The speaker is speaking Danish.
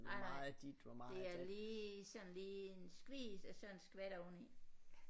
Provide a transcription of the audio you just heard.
Nej nej det er lige sådan lige en skvis og så en skvat oveni